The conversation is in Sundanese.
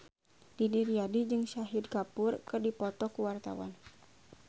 Didi Riyadi jeung Shahid Kapoor keur dipoto ku wartawan